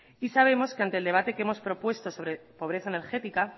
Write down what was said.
y sabemos que ante el debate que hemos propuesto sobre pobreza energética